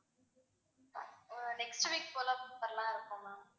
ஆஹ் next week போல வரலாம்னு இருக்கோம் ma'am